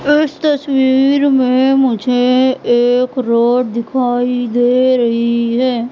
इस तस्वीर में मुझे एक रोड दिखाई दे रही है।